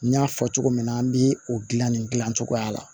N y'a fɔ cogo min na an bɛ o gilan nin gilan cogoya la